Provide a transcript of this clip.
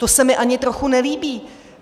To se mi ani trochu nelíbí.